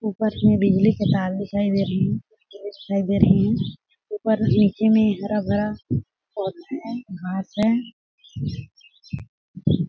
ऊपर में बिजली के तार दिखाई दे रही हैं ऊपर नीचे में हरा-भरा पौधा है घांस है।